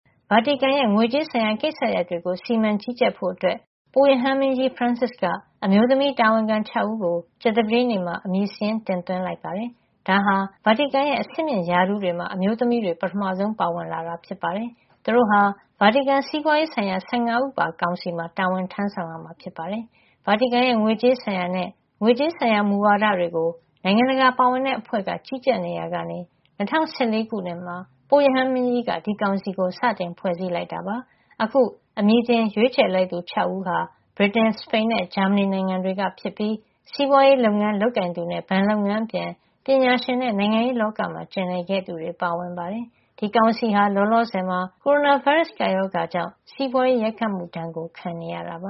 ဗာတီကန် ရဲ့ ငွေကြေးဆိုင်ရာကိစ္စရပ်တွေကို စီမံကြီးကြပ်ဖို့ အတွက် ပုပ်ရဟန်းမင်းကြီး ဖရန်စစ်က အမျိုးသမီး တာဝန်ခံ ၆ ဦးကို ကြာသပတေးနေ့မှာ အမည်စာရင်း တင်သွင်းလိုက်ပါတယ်။ ဒါဟာ ဗာတီကန်ရဲ့ အဆင့်မြင့်ရာထူးတွေမှာ အမျိုးသမီးတွေ ပထမဆုံး ပါဝင်လာတာ ဖြစ်ပါတယ်။ သူတို့ဟာ ဗာတီကန်စီးပွါးရေးဆိုင်ရာ ၁၅ ဦးပါ ကောင်စီမှာ တာဝန်ထမ်းဆောင် ရမှာ ဖြစ်ပါတယ်။ ဗာတီကန်ရဲ ငွေကြေးဆိုင်ရာနဲ့ ငွေကြေးဆိုင်ရာ မူဝါဒတွေကို နိုင်ငံတကာပါဝင်တဲ့ အဖွဲ့က ကြီးကြပ် နေရာကနေ ၂၀၁၄ ခုနှစ်မှာ ပုပ်ရဟန်းမင်းကြီးက ဒီကောင်စီကို စတင်ဖွဲ့စည်းခဲ့တာ ဖြစ်ပါတယ်။ အခု အမည်တင်ရွေးချယ်လိုက်သူ ၆ ဦးဟာ ဗြိတိန်၊ စပိန်နဲ့ ဂျာမဏီ နိုင်ငံတွေကဖြစ်ပြီး စီးပွါးရေး လုပ်ငန်းလုပ်ကိုင်သူနဲ့ ဘဏ်လုပ်ငန်းအပြင် ပညာရှင် နဲ့ နိုင်ငံရေးလောကမှာ ကျင်လည်ခဲ့သူတွေ ပါဝင်ပါတယ်။ ဒီကောင်စီဟာ လောလောဆယ်မှာ ကိုရိုနာဗိုင်းရပ်စ် ကပ်ရောဂါကြောင့် စီးပွါးရေး ရိုက်ခတ်မှု ဒဏ်ကို ခံနေရတာပ